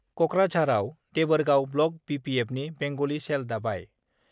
कक्राझारआव देबोरगाव block B P एफनि बेंग'लि चेल दाबाय